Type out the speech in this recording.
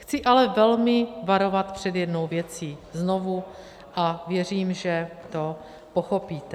Chci ale velmi varovat před jednou věcí znovu a věřím, že to pochopíte.